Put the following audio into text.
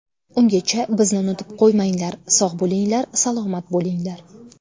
Ungacha bizni unutib qo‘ymanglar, sog‘ bo‘linglar, salomat bo‘linglar.